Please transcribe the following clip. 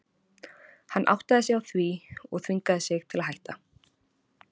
Hann áttaði sig á því og þvingaði sig til að hætta.